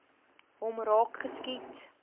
hom raak geskiet